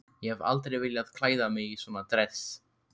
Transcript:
Ég hef aldrei viljað klæða mig í svona dress.